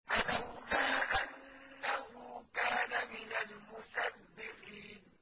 فَلَوْلَا أَنَّهُ كَانَ مِنَ الْمُسَبِّحِينَ